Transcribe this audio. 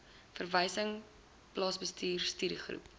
verwysings plaasbestuur studiegroepe